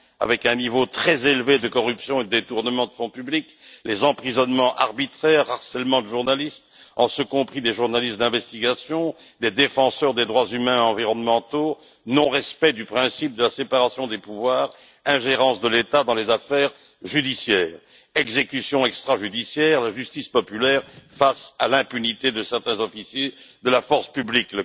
avec un niveau très élevé de corruption et de détournement de fonds publics, emprisonnements arbitraires, harcèlement de journalistes, y compris les journalistes d'investigation, et des défenseurs des droits humains et environnementaux, non respect du principe de la séparation des pouvoirs, ingérence de l'État dans les affaires judiciaires, exécutions extrajudiciaires, justice populaire face à l'impunité de certains officiers de la force publique.